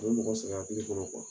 U mɔgɔ sɛgɛn hakili kɔnɔ